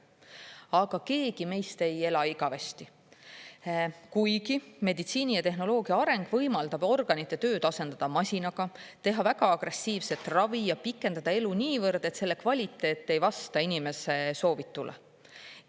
Aga keegi meist ei ela igavesti, kuigi meditsiini ja tehnoloogia areng võimaldab organite tööd asendada masinaga, teha väga agressiivset ravi ja pikendada elu niivõrd, et selle kvaliteet ei vasta inimese soovitule.